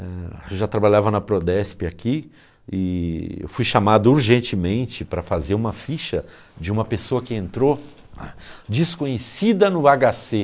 Eu já trabalhava na Prodesp aqui e fui chamado urgentemente para fazer uma ficha de uma pessoa que entrou desconhecida no agá cê.